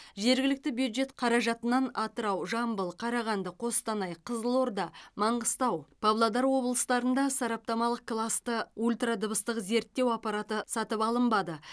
жергілікті бюджет қаражатынан атырау жамбыл қарағанды қостанай қызылорда маңғыстау павлодар облыстарында сараптамалық класты ультра дыбыстық зерттеу аппараты сатып алынбады